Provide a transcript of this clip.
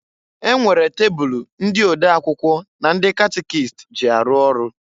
E nwere tebulu ndị ode akwụkwọ na ndị catikist ji arụ ọrụ.